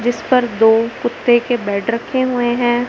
जिस पर दो कुत्ते के बेड रखें हुए हैं।